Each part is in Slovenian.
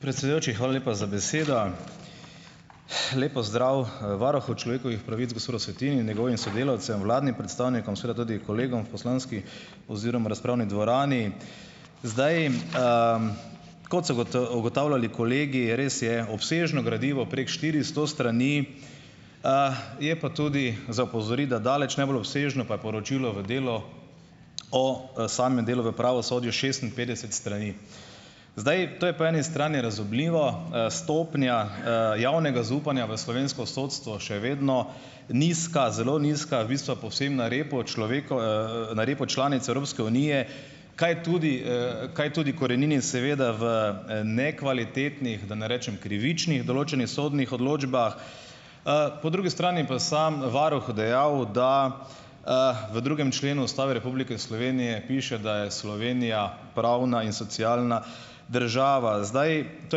Predsedujoči, hvala lepa za besedo. Lep pozdrav, varuhu človekovih pravic, gospodu Svetini in njegovim sodelavcem, vladnim predstavnikom, seveda tudi kolegom v poslanski oziroma razpravni dvorani. Zdaj, kot so ugotavljali kolegi, res je obsežno gradivo, prek štiristo strani, je pa tudi za opozoriti, da daleč najbolj obsežno pa je poročilo v delu o, samem delu v pravosodju, šestinpetdeset strani. Zdaj, to je po eni strani razumljivo. Stopnja, javnega zaupanja v slovensko sodstvo še vedno nizka, zelo nizka. V bistvu je povsem na repu na repu članic Evropske unije, kaj tudi, kaj tudi korenini seveda v, nekvalitetnih, da ne rečem krivičnih določenih sodnih odločbah. Po drugi strani pa sam varuh dejal, da, v drugem členu Ustave Republike Slovenije piše, da je Slovenija pravna in socialna država. Zdaj, to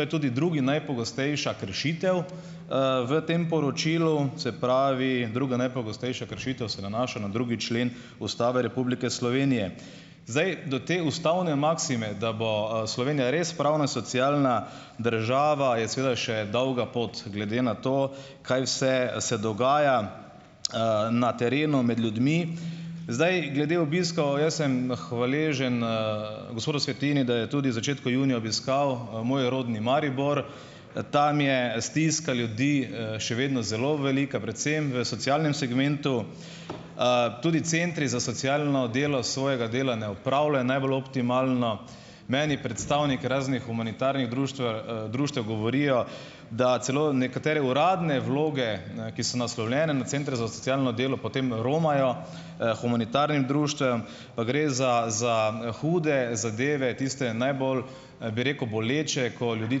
je tudi druga najpogostejša kršitev, v tem poročilu, se pravi druga najpogostejša kršitev se nanaša na drugi člen Ustave Republike Slovenije. Zdaj, do te ustavne maksime, da bo, Slovenija res pravna, socialna država, je seveda še dolga pot glede na to, kaj vse se dogaja, na terenu med ljudmi. Zdaj, glede obiskov, jaz sem hvaležen, gospodu Svetini, da je tudi v začetku junija obiskal, moj rodni Maribor. Tam je stiska ljudi, še vedno zelo velika, predvsem v socialnem segmentu. Tudi centri za socialno delo svojega dela ne opravljajo najbolj optimalno. Meni predstavniki raznih humanitarnih društve, društev govorijo, da celo nekatere uradne vloge, ne, ki so naslovljene na centre za socialno delo, potem romajo, humanitarnim društvom, pa gre za za hude zadeve, tiste najbolj, bi rekel, boleče, ko ljudi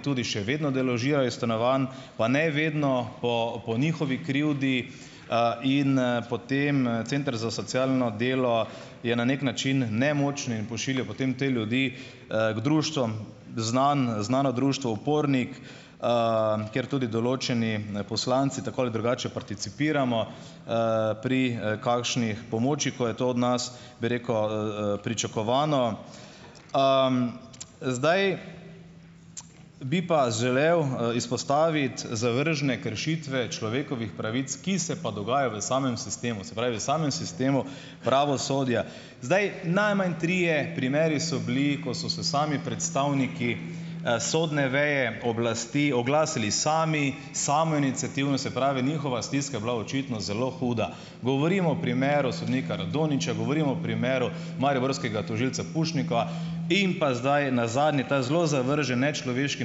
tudi še vedno deložirajo iz stanovanj, pa ne vedno po po njihovi krivdi, in, potem, center za socialno delo je na neki način nemočen in pošilja potem te ljudi, k društvom, znan, znano društvo Upornik, kjer tudi določeni poslanci tako ali drugače participiramo, pri, kakšnih pomoči, ko je to od nas, bi rekel, pričakovano. Zdaj, bi pa želel, izpostaviti zavržne kršitve človekovih pravic, ki se pa dogajajo v samem sistemu, se pravi, v samem sistemu pravosodja. Zdaj, najmanj trije primeri so bili, ko so se sami predstavniki, sodne veje oblasti oglasili sami, samoiniciativno, se pravi, njihova stiska je bila očitno zelo huda, govorim o primeru sodnika Radonjića, govorim o primeru mariborskega tožilca Pušnika in pa zdaj, nazadnje, ta zelo zavržen, nečloveški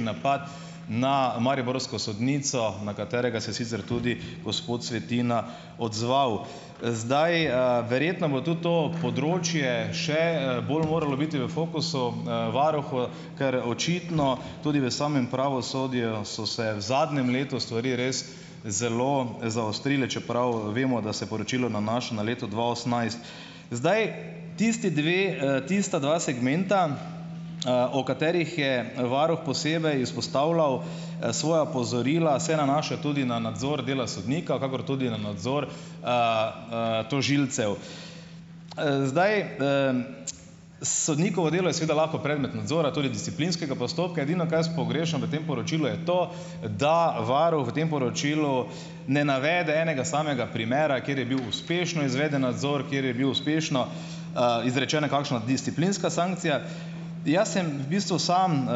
napad na mariborsko sodnico, na katerega se je sicer tudi gospod Svetina odzval. Zdaj, verjetno bo tudi to področje še, bolj moralo biti v fokusu, varuhu, ker očitno tudi v samem pravosodju so se v zadnjem letu stvari res zelo zaostrile, čeprav vemo, da se poročilo nanaša na leto dva osemnajst. Zdaj, tisti dve, tista dva segmenta, o katerih je varuh posebej izpostavljal, svoja opozorila, se nanaša tudi na nadzor dela sodnika, kakor tudi na nadzor, tožilcev. Zdaj, sodnikovo delo je seveda lahko predmet nadzora, tudi disciplinskega postopka, edino, kaj jaz pogrešam v tem poročilu, je to, da varuh v tem poročilu ne navede enega samega primera, kjer je bil uspešno izveden nadzor, kjer je bila uspešno, izrečena kakšna disciplinska sankcija. Jaz sem v bistvu samo,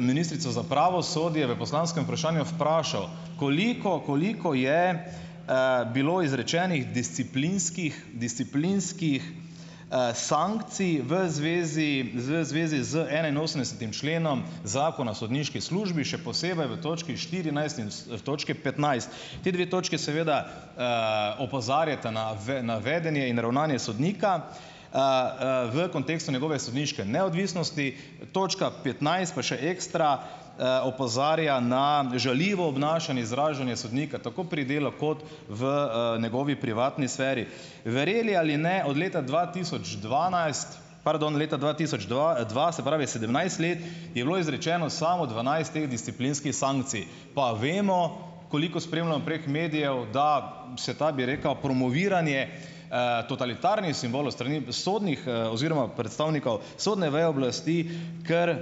ministrico za pravosodje v poslanskem vprašanju vprašal, koliko, koliko je, bilo izrečenih disciplinskih, disciplinskih, sankcij v zvezi, v zvezi z enainosemdesetim členom zakona o sodniški službi, še posebej v točki štirinajst in v točki petnajst. Ti dve točki seveda, opozarjata na na vedenje in ravnanje sodnika. V kontekstu njegove sodniške neodvisnosti. Točka petnajst pa še ekstra, opozarja ne žaljivo obnašanje, izražanje sodnika, tako pri delu kot v, njegovi privatni sferi. Verjeli ali ne, od leta dva tisoč dvanajst, pardon, leta dva tisoč dva dva, se pravi sedemnajst let, je bilo izrečeno samo dvanajst teh disciplinskih sankcij, pa vemo, koliko spremljam prek medijev, da se ta, bi rekel, promoviranje, totalitarnih simbolov s strani sodnih, oziroma predstavnikov sodne veje oblasti, kar,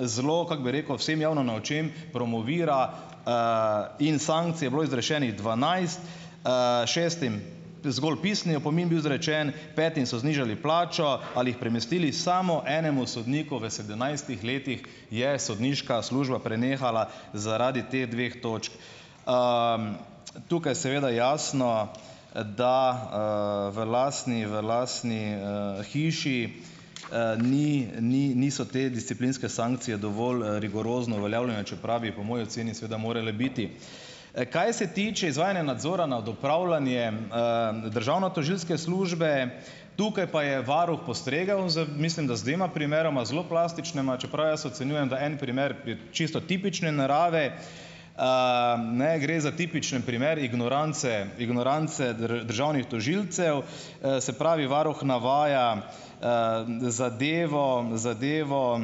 zelo, kako bi rekel, vsem javno na očeh promovira, in sankcij je bilo izrečenih dvanajst, šestim zgolj pisni opomin bil izrečen, petim so znižali plačo ali jih premestili, samo enemu sodniku v sedemnajstih letih je sodniška služba prenehala zaradi teh dveh točk. Tukaj seveda jasno, da, v lastni, v lastni, hiši, ni, ni niso te disciplinske sankcije dovolj, rigorozno uveljavljene, čeprav bi po moji oceni seveda morale biti. Kaj se tiče izvajanja nadzora nad upravljanjem, državnotožilske službe, tukaj pa je varuh postregel z, mislim da, z dvema primeroma, zelo plastičnima, čeprav jaz ocenjujem, da en primer je čisto tipične narave. ne, gre za tipičen primer ignorance, ignorance državnih tožilcev, se pravi varuh navaja, zadevo, zadevo,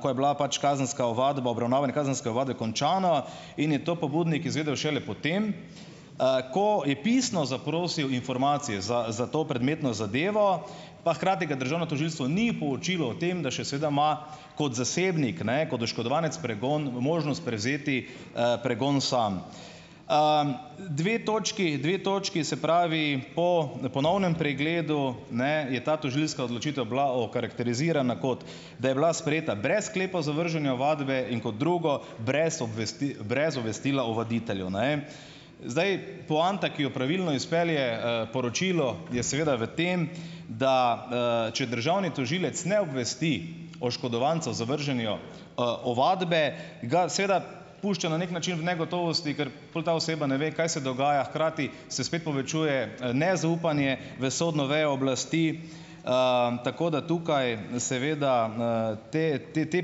ko je bila pač kazenska ovadba, obravnavanje kazenske ovadbe končano, in je to pobudnik izvedel šele potem, ko je pisno zaprosil informacije za, za to predmetno zadevo, pa hkrati ga državno tožilstvo ni poučilo o tem, da še sedaj ima, kot zasebnik ne, kot oškodovanec, pregon, možnost prevzeti, pregon sam. dve točki, dve točki, se pravi, po ponovnem pregledu, ne, je ta tožilska odločitev bila okarakterizirana, kot da je bila sprejeta brez sklepa o zavrženju ovadbe in kot drugo, brez brez obvestila ovaditeljev, ne. Zdaj, poanta, ki jo pravilno izpelje, poročilo, je seveda v tem, da, če državni tožilec ne obvesti oškodovanca o zavrženju, ovadbe, ga seveda pušča na neki način v negotovosti, ker pol ta oseba ne ve, kaj se dogaja. Hkrati se spet povečuje nezaupanje v sodno vejo oblasti, tako da tukaj seveda, ti, ti, ti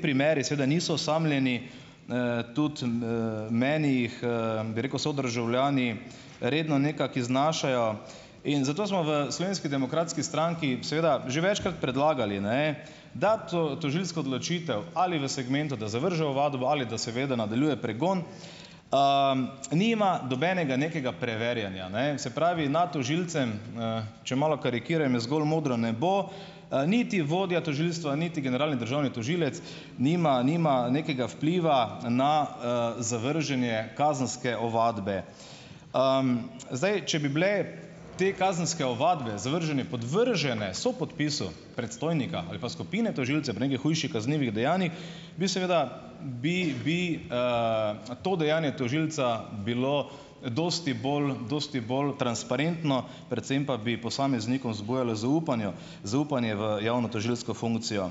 primeri seveda niso osamljeni, tudi, meni jih, bi rekel sodržavljani redno nekako iznašajo. In zato smo v Slovenski demokratski stranki seveda že večkrat predlagali, ne, da tožilsko odločitev, ali v segmentu, da zavrže ovadbo, ali da seveda nadaljuje pregon, nima nobenega nekega preverjanja, ne. Se pravi, nad tožilcem, če malo karikiram, je zgolj modro nebo. Niti vodja tožilstva niti generalni državni tožilec nima nima nekega vpliva na, zavrženje kazenske ovadbe. Zdaj, če bi bile te kazenske ovadbe, zavržene, podvržene sopodpisu predstojnika ali pa skupine tožilcev pri nekih hujših kaznivih dejanjih, bi seveda, bi, bi, to dejanje tožilca bilo dosti bolj, dosti bolj transparentno, predvsem pa bi posameznikom zbujalo zaupanju, zaupanje v javno tožilsko funkcijo.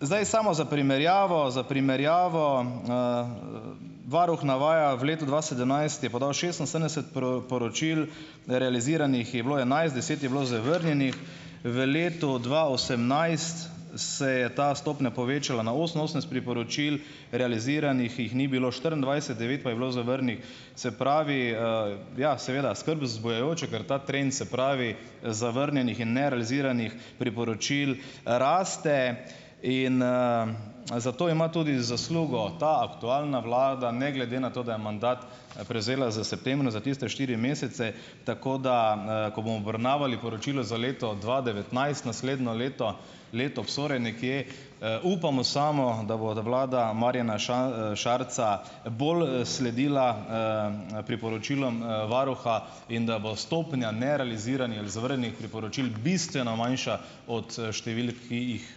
Zdaj samo za primerjavo, za primerjavo, varuh navaja: v letu dva sedemnajst je podal šestinsedemdeset poročil, realiziranih je bilo enajst, deset je bilo zavrnjenih, v letu dva osemnajst se je ta stopnja povečala na oseminosemdeset priporočil, realiziranih jih ni bilo štiriindvajset, devet pa je bilo zavrnjenih. Se pravi, ja, seveda, skrb vzbujajoče, ker ta se pravi, zavrnjenih in nerealiziranih priporočil raste in, zato ima tudi zaslugo ta aktualna vlada, ne glede na to, da je mandat, prevzela z za tiste štiri mesece, tako da, ko bomo obravnavali poročilo za leto dva devetnajst, naslednjo leto, leto nekje. Upamo samo, da bo da vlada Marjana Šarca bolj, sledila, priporočilom, varuha in da bo stopnja ali zavrnjenih priporočil bistveno manjša od, številk, ki jih,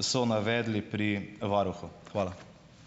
so navedli pri varuhu. Hvala.